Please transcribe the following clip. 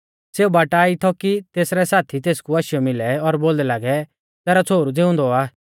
सेऊ बाटा ई थौ कि तेसरै साथी तेसकु आशीयौ मिलै और बोलदै लागै तैरौ छ़ोहरु ज़िउंदौ आ